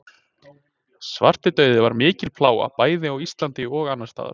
Svartidauði var mikil plága bæði á Íslandi og annars staðar.